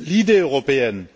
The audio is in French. L'idée européenne,